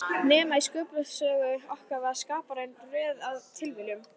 Nema í Sköpunarsögu okkar var Skaparinn röð af tilviljunum.